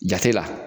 Jate la